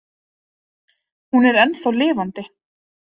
Hún er ennþá lifandi.